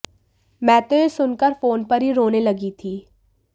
मैं तो ये सुनकर फोन पर ही रोने लगी थी